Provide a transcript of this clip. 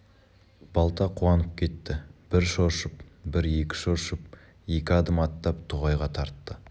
балта қуанып кетті бір шоршып бір екі шоршып екі адым аттап тоғайға тартты